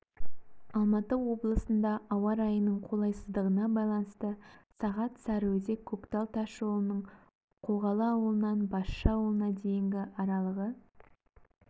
алматы облысында ауа райының қолайсыздығына байланысты сағат сарыөзек-көктал тас жолының қоғалы ауылынан басшы ауылына дейінгі аралығы